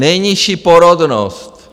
Nejnižší porodnost.